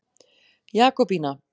Jakobína